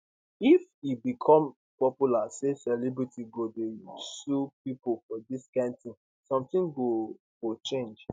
if e become popular say celebrities go dey sue pipo for dis kind tin sometin go go change